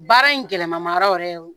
Baara in gɛlɛmanma yɔrɔ yɛrɛ ye